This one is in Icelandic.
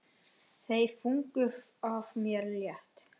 Þungu fargi af mér létt.